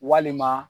Walima